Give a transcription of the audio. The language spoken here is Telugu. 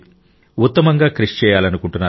ఉత్తమంగా కృషి చేయాలనుకుంటున్నారు